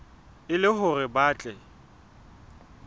e le hore ba tle